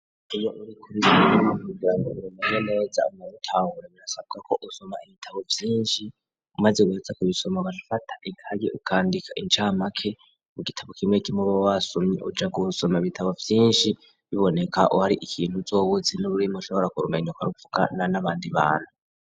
Iyo uri kubizankujango rurumenya neza unwabutaura burasabwa ko usoma ibitabo vyinshi umaze uguyaza ku bisoma bafata ikagi ukandika incamake ku gitabo kimwe kimwe ubo wasumye uja gusoma ibitabo vyinshi biboneka uhari ikintu uzowutze n'ururimu ushobora kurumenyukaruvuga na n'abandi bantu.